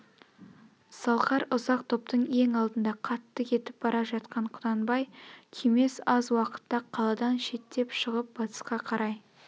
салқар ұзақ топтың ең алдында қатты кетіп бара жатқан құнанбай күймес аз уақытта қаладан шеттеп шығып батысқа қарай